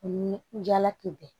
Ni jalakun bɛɛ